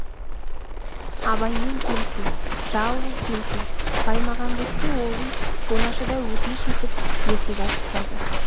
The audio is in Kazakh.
абаймен келсін жалғыз келсін баймағамбетке ол үй оңашада өтініш етіп ертегі айтқызады